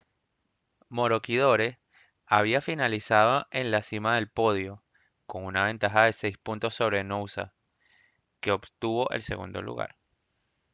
maroochydore había finalizado en la cima del podio con una ventaja de seis puntos sobre noosa que obtuvo el segundo lugar